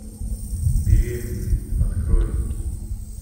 беременный открой